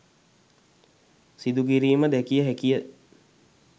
සිදුකිරීම දැකිය හැකිය.